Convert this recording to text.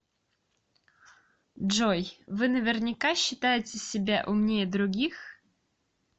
джой вы наверняка считаете себя умнее других